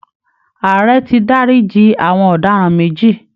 Ààrẹ ti dárí ji àwọn ọ̀daràn méjì